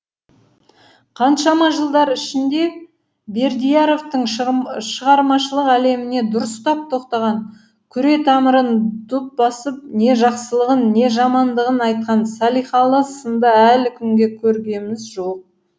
қаншама жылдар ішінде бердияровтың шығармашылық әлеміне дұрыстап тоқтаған күре тамырын дүп басып не жақсылығын не жамандығын айтқан салихалы сынды әлі күнге көргеміз жоқ